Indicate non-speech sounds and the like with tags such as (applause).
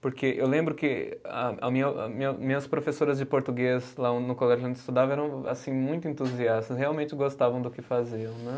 Porque eu lembro que a, a minha, (unintelligible) minhas professoras de português lá (unintelligible) no colégio onde eu estudava eram assim muito entusiastas, realmente gostavam do que faziam, né.